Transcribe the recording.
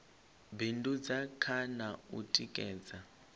bindudza kha na u tikedza